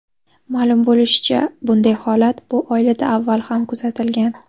Ma’lum bo‘lishicha, bunday holat bu oilada avval ham kuzatilgan.